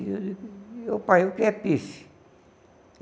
E eu, pai, o que é?